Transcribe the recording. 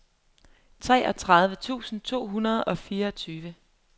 treogtredive tusind to hundrede og fireogtyve